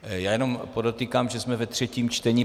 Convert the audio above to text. Já jenom podotýkám, že jsme ve třetím čtení.